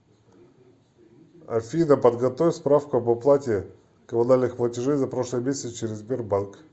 афина подготовь справку об оплате коммунальных платежей за прошлый месяц через сбербанк